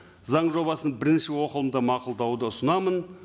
заң жобасын бірінші оқылымда мақұлдауды ұсынамын